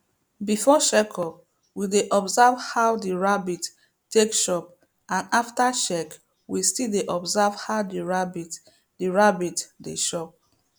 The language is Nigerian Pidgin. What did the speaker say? before check up we dey observe how the rabbit take chop and after check we still dey observe how the rabbit the rabbit dey chop